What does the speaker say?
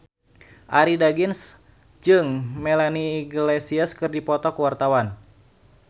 Arie Daginks jeung Melanie Iglesias keur dipoto ku wartawan